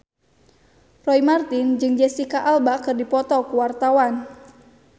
Roy Marten jeung Jesicca Alba keur dipoto ku wartawan